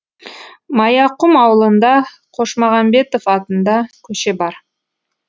маяқұм аулында қошмағанбетов атында көше бар